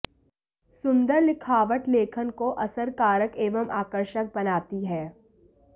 सुंदर लिखावट लेखन को असरकारक एवं आकर्षक बनाती है